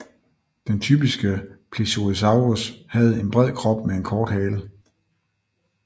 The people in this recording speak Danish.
Den typiske plesiosaurus havde en bred krop med en kort hale